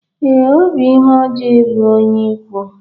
Ee, ọ bụ ihe ọjọọ ịlụ onye ikwu.